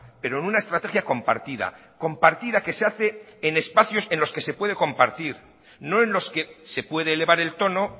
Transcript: pero en una estrategia compartida compartida que se hace en espacios en los que se puede compartir no en los que se puede elevar el tono